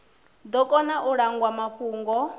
ḓo kona u langwa mafhungo